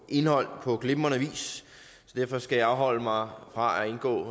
indhold på glimrende vis derfor skal jeg afholde mig fra at gå